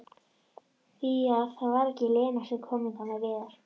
Því var það ekki Lena sem kom hingað með Viðar?